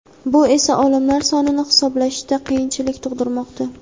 bu esa o‘limlar sonini hisoblashda qiyinchilik tug‘dirmoqda.